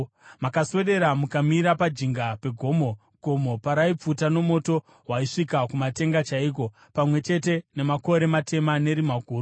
Makaswedera mukamira pajinga pegomo, gomo paraipfuta nomoto waisvika kumatenga chaiko, pamwe chete nemakore matema nerima guru.